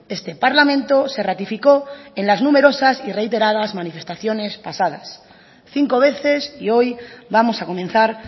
este parlamento se ratificó en las numerosas y reiteradas manifestaciones pasadas cinco veces y hoy vamos a comenzar